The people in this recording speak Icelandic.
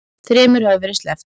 Þremur hefur verið sleppt